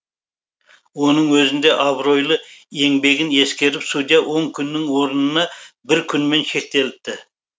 оның өзінде абыройлы еңбегін ескеріп судья он күннің орнына бір күнмен шектеліпті